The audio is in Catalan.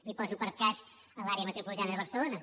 i poso per cas l’àrea metropolitana de barcelona